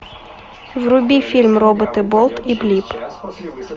вруби фильм роботы болт и блип